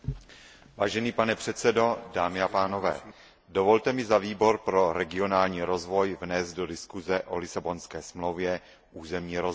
Vážený pane předsedo, dámy a pánové, dovolte mi za Výbor pro regionální rozvoj vnést do diskuse o Lisabonské smlouvě územní rozměr.